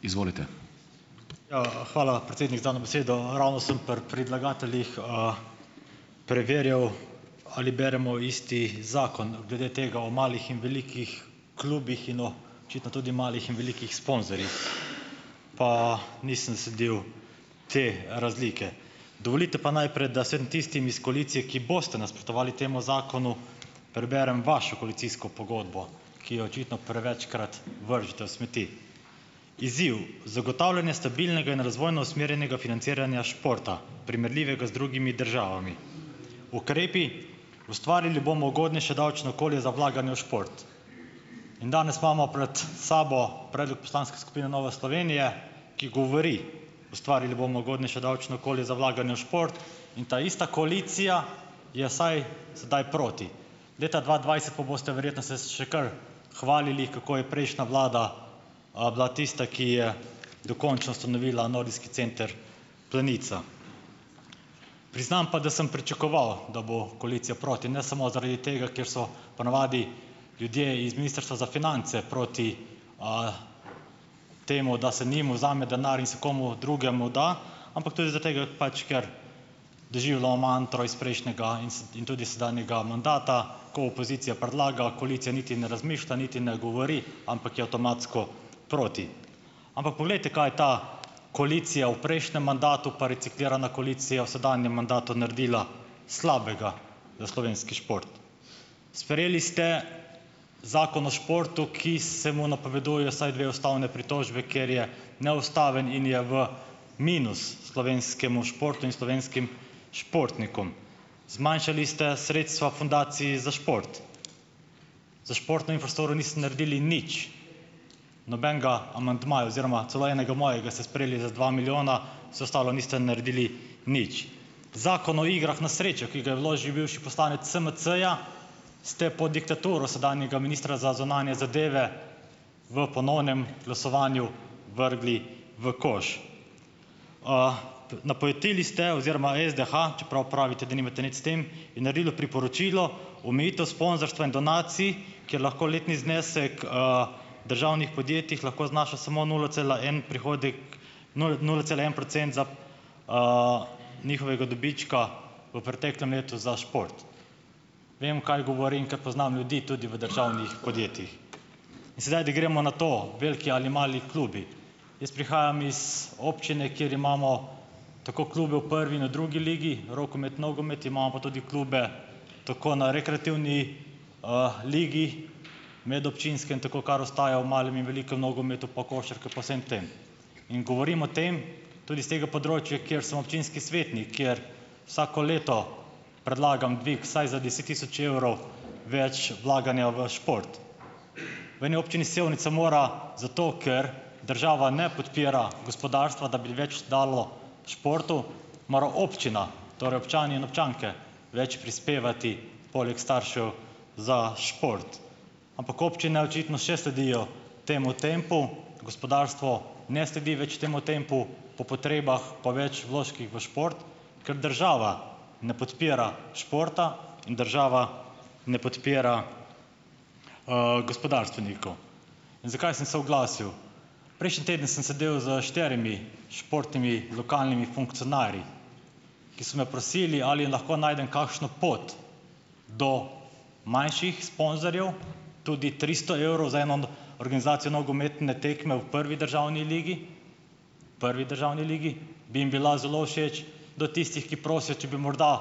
Ja, hvala, predsednik, za dano besedo. Ravno sem pri predlagateljih, preverjal, ali beremo isti zakon glede tega o malih in velikih klubih in očitno tudi malih in velikih Pa nisem sledil te razlike. Dovolite pa najprej, da vsem tistim iz koalicije, ki boste nasprotovali temu zakonu, preberem vašo koalicijsko pogodbo, ki jo očitno prevečkrat vržete v smeti: "Izziv: zagotavljanje stabilnega in razvojno usmerjenega financiranja športa, primerljivega z drugimi državami. Ukrepi: ustvarili bomo ugodnejše davčno okolje za vlaganje v šport." In danes imamo pred sabo predlog poslanske skupine Nova Slovenija, ki govori: "Ustvarili bomo ugodnejše davčno okolje za vlaganje v šport." In ta ista koalicija je saj sedaj proti. Leta dva dvajset pa boste verjetno se še kar hvalili, kako je prejšnja vlada, bila tista, ki je dokončno ustanovila Nordijski center Planica. Priznam pa, da sem pričakoval, da bo koalicija proti. Ne samo zaradi tega, ker so ponavadi ljudje iz ministrstva za finance proti, temu, da se njim vzame denar in se komu drugemu da, ampak tudi zaradi tega, pač, ker doživljamo mantro iz prejšnjega in in tudi sedanjega mandata, ko opozicija predlaga, koalicija niti ne razmišlja, niti ne govori, ampak je avtomatsko proti. Ampak poglejte, kaj je ta koalicija v prejšnjem mandatu pa reciklirana koalicija v sedanjem mandatu naredila slabega za slovenski šport. Sprejeli ste zakon o športu, ki se mu napovedujeta vsaj dve ustavni pritožbi, ker je neustaven in je v minus slovenskemu športu in slovenskim športnikom. Zmanjšali ste sredstva Fundaciji za šport. Za športno infrastrukturo niste naredili nič. Nobenega amandmaja oziroma celo enega mojega ste sprejeli za dva milijona, vse ostalo niste naredili nič. Zakon o igrah na srečo, ki ga je vložil bivši poslanec SMC-ja, ste pod diktaturo sedanjega ministra za zunanje zadeve v ponovnem glasovanju vrgli v koš. Napojetili ste oziroma SDH, čeprav pravite, da nimate nič s tem, je naredilo priporočilo: "Omejitev sponzorstva in donacij, kjer lahko letni znesek, državnih podjetjih lahko znaša samo nula cela en nula cela en procent za, njihovega dobička v preteklem letu za šport." Vem, kaj govorim, ker poznam ljudi tudi v državnih podjetjih. In sedaj, da gremo na to, veliki ali mali klubi. Jaz prihajam iz občine, kjer imamo tako klube v prvi in v drugi ligi, rokomet, nogomet, imamo pa tudi klube tako na rekreativni, ligi, medobčinskem tako, kar ostaja v malem in velikem nogometu, pa košarka pa vsem tem. In govorim o tem, tudi iz tega področja, kjer sem občinski svetnik, kjer vsako leto predlagam dvig vsaj za deset tisoč evrov več vlaganja v šport. V eni občini Sevnica mora zato, ker država ne podpira gospodarstva, da bi več dalo športu, mora občina, torej občani in občanke, več prispevati, poleg staršev, za šport. Ampak občine očitno še sledijo temu tempu, gospodarstvo ne sledi več temu tempu, po potrebah pa več vložkih v šport, ker država ne podpira športa in država ne podpira, gospodarstvenikov. In zakaj sem se oglasil? Prejšnji teden sem sedel s štirimi športnimi lokalnimi funkcionarji, ki so me prosili, ali lahko najdem kakšno pot do manjših sponzorjev, tudi tristo evrov, za eno organizacijo nogometne tekme v prvi državni ligi, prvi državni ligi, bi jim bila zelo všeč, do tistih, ki prosijo, če bi morda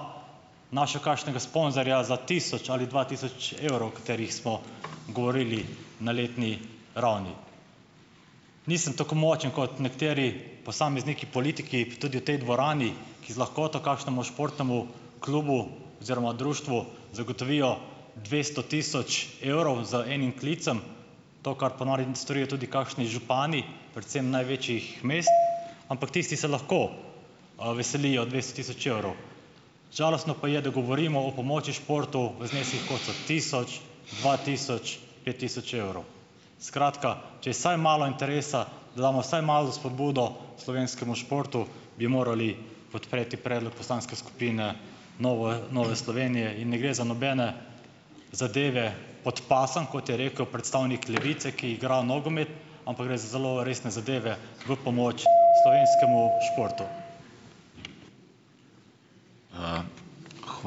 našel kakšnega sponzorja za tisoč ali dva tisoč evrov, o katerih smo govorili na letni ravni. Nisem tako močen kot nekateri posamezniki, politiki, tudi v tej dvorani, ki z lahkoto kakšnemu športnemu klubu oziroma društvu zagotovijo dvesto tisoč evrov z enim klicem, to, kar po norin storijo tudi kakšni župani, predvsem največjih mest, ampak tisti se lahko, veselijo dvesto tisoč evrov. Žalostno pa je, da govorimo o pomoči športov v zneskih, kot so tisoč, dva tisoč, pet tisoč evrov. Skratka, če je vsaj malo interesa, da damo vsaj malo za spodbudo slovenskemu športu, bi morali podpreti predlog poslanske skupine Novoje Nove Slovenije in ne gre za nobene zadeve pod pasom, kot je rekel predstavnik Levice, ki igra nogomet, ampak gre za zelo resne zadeve v pomoč slovenskemu športu ...